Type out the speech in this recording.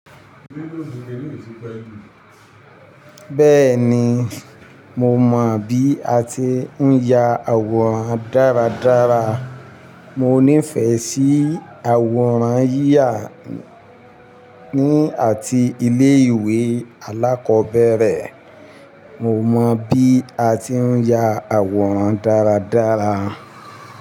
Bẹ́ẹ̀ni, mo mọ bí a ti ń ya àwòrán dáradára. Mo nífẹ̀ẹ́ sí àwòrán yíyà ní àti ilé ìwé alákọ̀ọ́bẹ̀rẹ̀. Mo mọ bí a ti ń ya àwòrán dáradára.